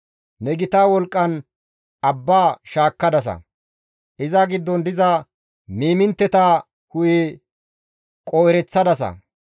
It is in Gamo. Ne gita wolqqan abba shaakkadasa; iza giddon diza miimintteta hu7e qoo7ereththadasa.